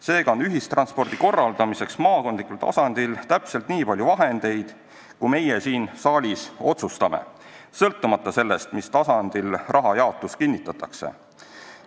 Seega on ühistranspordi korraldamiseks maakondlikul tasandil täpselt nii palju vahendeid, kui meie siin saalis otsustame, sõltumata sellest, mis tasandil raha jaotus kinnitatakse.